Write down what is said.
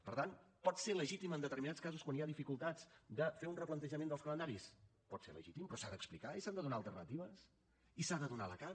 per tant pot ser legítim en determinats casos quan hi ha dificultats de fer un replantejament dels calendaris pot ser legítim però s’ha d’explicar i s’han de donar alternatives i s’ha de donar la cara